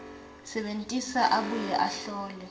sebentisa abuye ahlole